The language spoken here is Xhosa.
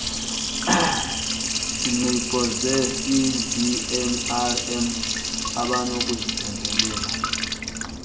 ngqiqo zecbnrm abanokuziphembelela